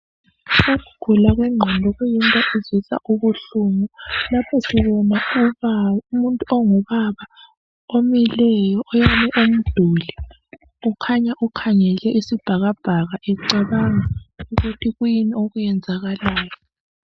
Ukugula kwengqondo kuyinto ezwisa ubuhlungu. Lapho sibona umuntu ongubaba omileyo oyame umduli kukhanya ukhangele isibhakabhaka ecabanga ukuthi kuyini okwenzakalayo.